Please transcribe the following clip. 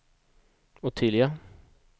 Ottilia